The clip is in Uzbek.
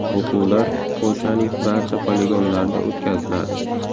O‘quvlar Polshaning barcha poligonlarida o‘tkaziladi.